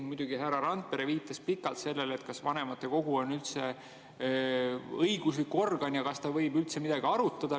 Muidugi, härra Randpere viitas pikalt sellele, kas vanematekogu on üldse õiguslik organ ja kas ta võib üldse midagi arutada.